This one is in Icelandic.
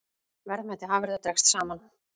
Verðmæti afurða dregst saman